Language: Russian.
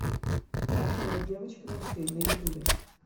афина девочка мечты на ютубе